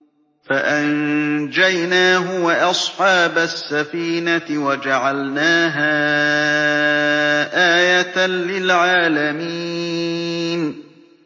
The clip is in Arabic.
فَأَنجَيْنَاهُ وَأَصْحَابَ السَّفِينَةِ وَجَعَلْنَاهَا آيَةً لِّلْعَالَمِينَ